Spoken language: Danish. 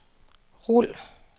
rul